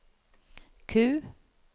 Q